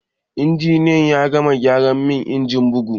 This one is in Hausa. Injiniyan ya gama gyara min injin bugu